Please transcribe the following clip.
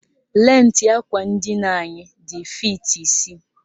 Lentị àkwà ndina anyị dị fiiti isii